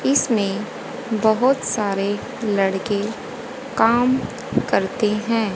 इसमें बहोत सारे लड़के काम करते हैं।